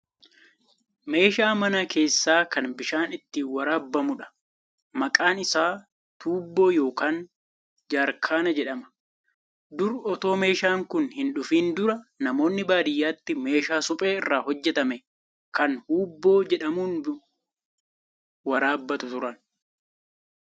Meeshaa mana keessaa kan bishaan ittiin waraabamudha. Maqaan isaa Tuubboo yookaan Jaarkaana jedhama. Dur otoo meeshaan kun hin dhufiin dura namoonni baadiyyaatti meeshaa suphee irraa hojjetamu kan huubboo jedhamun waraabbatu turan.